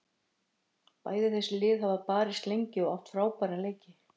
Bæði þessi lið hafa barist lengi og átt frábæra leiki.